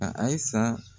A ayi sa